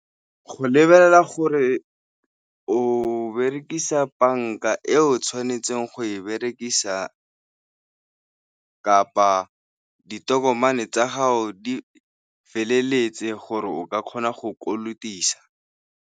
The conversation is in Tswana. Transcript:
Go lebelela gore o berekisa banka e o tshwanetseng go e berekisa kapa ditokomane tsa gago di feleletse gore o ka kgona go kolotisa.